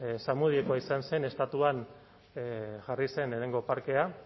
zamudiokoa izan zen estatuan jarri zen lehenengo parkea